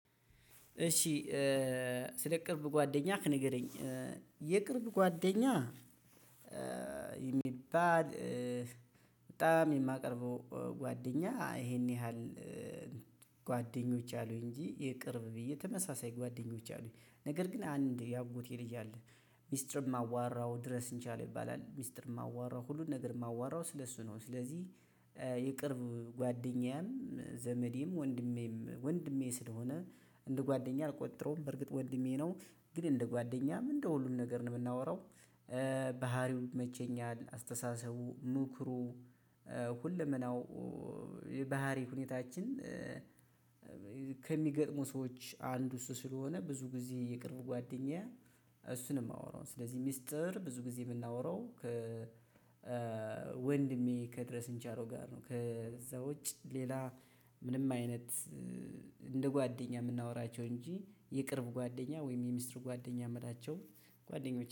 ስለ ቅርብ ጓደኛክ ንገረኝ የቅርብ ጓደኛ የሚባል በጣም የማቀርበው ጓደኛ ይሄን ያህል ጓደኞች አሉኝ እንጂ የቅርብ ብዬ ተመሳሳይ ጓደኞች አሉኝ ነገር ግን አንድ የአጎቴ ልጅ አለ ሚስጥር የማዋራው ድረስ እንቻል ይባላል ሚስጥር የማዋራው ሁሉን ነገር የማዋራው ስለ እሱ ነው። ስለዚህ የቅርብ ጓደኛም ዘመዴም ወንድሜም ወንድሜ ስለሆነ እንደ ጓደኛ አልቆጥረውም። በርግጥ ወንድሜ ነው ግን እንደ ጓደኛም እንደ ሁሉም ነገር ነው የምናወራው። ባህሪው ይመቸኛል አስተሳሰቡ ምክሩ ሁለመናው የባህሪው ሁኔታችን ከሚገጥሙ ሰዎች አንዱ እሱ ስለሆነ ብዙ ጊዜ የቅርብ ጓደኛዬ። እሱን ነው የማወራው ስለዚህ ሚስጥር ብዙ ጊዜ የማወራው ከ ወንድሜ ከድረስ እንጀራው ጋር ነው። ከዛው ውጭ ሌላ ምንም አይነት እንደ ጓደኛ የምናወራቸው እንጂ የቅርብ ጓደኛ ወይም የሚስጥር ጓደኛ የምላቸው ጓደኞች